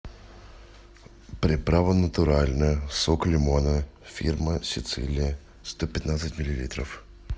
приправа натуральная сок лимона фирма сицилия сто пятнадцать миллилитров